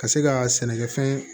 Ka se ka sɛnɛkɛfɛn